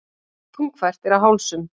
Þungfært er á hálsum.